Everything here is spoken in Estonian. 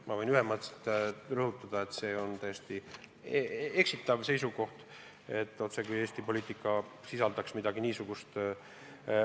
Ma võin ühemõtteliselt rõhutada, et see on täiesti eksitav seisukoht, otsekui Eesti poliitika sisaldaks midagi niisugust.